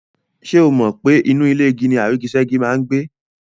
Ṣé o mọ̀ pe inú ilé igi ni àrígiṣẹ́gi máa n gbé?